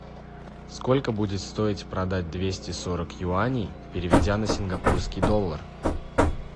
сколько будет стоить продать двести сорок юаней переведя на сингапурский доллар